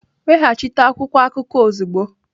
Weghachite akwụkwọ akụkọ ozugbo!